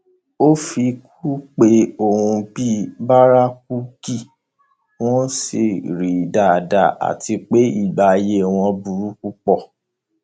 ó fi kún un pé òun mọ bí bárakúkí wọn ṣe rí dáadáa àti pé ìgbé ayé wọn burú púpọ